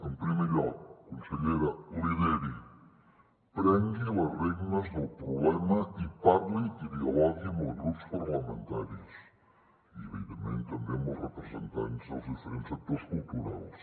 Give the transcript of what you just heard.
en primer lloc consellera lideri prengui les regnes del problema i parli i dialogui amb els grups parlamentaris i evidentment també amb els representants dels diferents sectors culturals